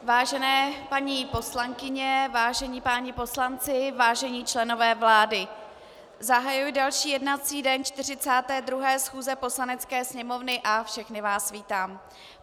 Vážené paní poslankyně, vážení páni poslanci, vážení členové vlády, zahajuji další jednací den 42. schůze Poslanecké sněmovny a všechny vás vítám.